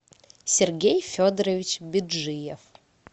сергей федорович беджиев